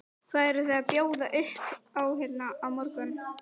Hvað eruð þið að bjóða upp á hérna á morgun?